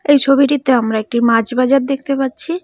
এই ছবিটিতে আমরা একটি মাছ বাজার দেখতে পাচ্ছি।